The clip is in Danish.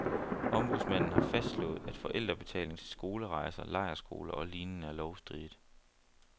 Ombudsmanden har fastslået, at forældrebetaling til skolerejser, lejrskoler og lignende er lovstridigt.